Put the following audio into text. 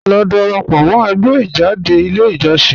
Lọ dárápọ̀ mọ̀ ẹ̀gbẹ́ ijádẹ̀ ilẹ̀ ijọ̀ṣìn